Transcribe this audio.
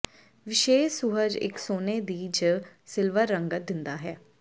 ਵਿਸ਼ੇਸ਼ ਸੁਹਜ ਇੱਕ ਸੋਨੇ ਦੀ ਜ ਸਿਲਵਰ ਰੰਗਤ ਦਿੰਦਾ ਹੈ